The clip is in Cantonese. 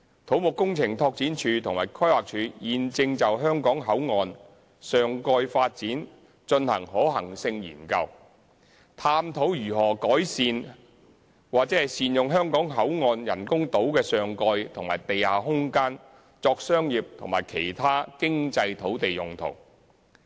土木工程拓展署及規劃署現正就香港口岸上蓋發展進行可行性研究，探討如何善用香港口岸人工島的上蓋和地下空間作商業及其他經濟土地用途。